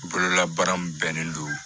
Bololabaara min bɛnnen don